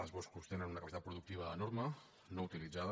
els boscos tenen una capacitat pro·ductiva enorme no utilitzada